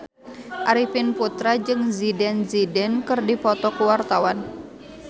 Arifin Putra jeung Zidane Zidane keur dipoto ku wartawan